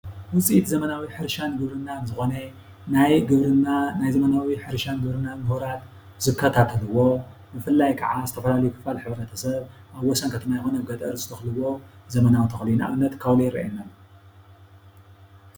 ውፅኢት ዘመናዊ ሕርሻን ግብርናን ዝኾነ ናይ ግብርና ናይ ዘመናዊ ሕርሻ ግብርናን ሙሁራት ዝከታተልዎ ብፍላይ ከዓ ዝተፈላለዩ ክፋል ሕ/ሰብ ኣብ ወሰን ከተማ ይኹን ኣብ ገጠር ዝተኸልዎ ዘመናዊ ተኽሊ እዩ። ንኣብነት ካውሎ ይረኣየና ኣሎ ።